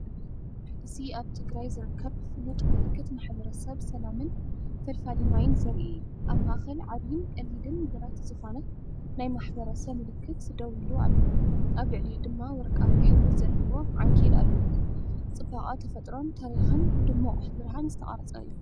እዚ ኣብ ትግራይ ዝርከብ ፍሉጥ ምልክት ማሕበረሰብ ሰላምን ፈልፋሊ ማይን ዘርኢ እዩ። ኣብ ማእከል ዓቢን ቀሊልን ብረት ዝኾነ ናይ ማሕበረሰብ ምልክት ደው ኢሉ ኣሎ፣ ኣብ ልዕሊኡ ድማ ወርቃዊ ሕብሪ ዘለዎ ዓንኬል ኣለዎ። ጽባቐ ተፈጥሮን ታሪኽን፡ብድሙቕ ብርሃን ዝተቐርጸ እዩ።